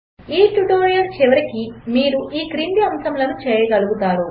1 ఈ ట్యుటోరియల్ చివరికి మీరు ఈ క్రింది అంశములు చేయగలుగుతారు